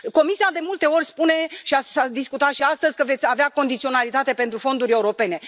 Comisia, de multe ori, spune și s a discutat și astăzi că veți avea condiționalitate pentru fonduri europene.